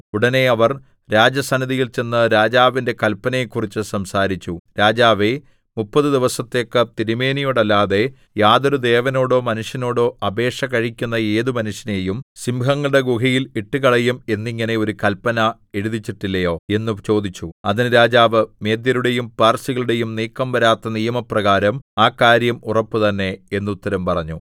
ഉടനെ അവർ രാജസന്നിധിയിൽ ചെന്ന് രാജാവിന്റെ കല്പനയെക്കുറിച്ച് സംസാരിച്ചു രാജാവേ മുപ്പതു ദിവസത്തേക്ക് തിരുമേനിയോടല്ലാതെ യാതൊരു ദേവനോടോ മനുഷ്യനോടോ അപേക്ഷ കഴിക്കുന്ന ഏതു മനുഷ്യനെയും സിംഹങ്ങളുടെ ഗുഹയിൽ ഇട്ടുകളയും എന്നിങ്ങനെ ഒരു കല്പന എഴുതിച്ചിട്ടില്ലയോ എന്ന് ചോദിച്ചു അതിന് രാജാവ് മേദ്യരുടെയും പാർസികളുടെയും നീക്കം വരാത്ത നിയമപ്രകാരം ആ കാര്യം ഉറപ്പുതന്നെ എന്നുത്തരം പറഞ്ഞു